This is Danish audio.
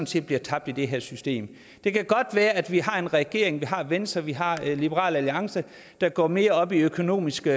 set bliver tabt i det her system det kan godt være at vi har en regering vi har et venstre vi har en liberal alliance der går mere op i økonomiske